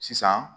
Sisan